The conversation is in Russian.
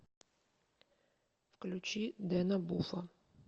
включи дэна буфа